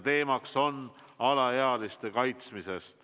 Teemaks on alaealiste kaitsmine.